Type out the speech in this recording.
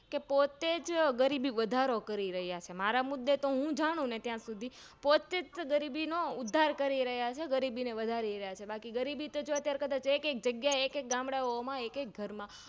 કે પોતેજ ગરીબી વધારો કરી રહ્યાછે માંરા મુદેમુજ જાણું ત્યાં સુધી પોતેજ ગરીબીનો ઉધાર કરી રહ્યા છે ગરીબીને વધારી રહ્યા છે બાકી ગરીબી તો ક્દાચ એક એક જગ્યા એ એક એક ગામડાંઓમાં એક એક ઘર માં